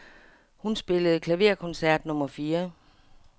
Hun spillede klaverkoncert nummer fire.